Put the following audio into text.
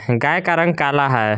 गाय का रंग काला है।